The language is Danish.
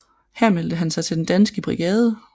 Her meldte han sig til Den Danske Brigade